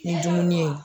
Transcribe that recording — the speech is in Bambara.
Ni dumuni ye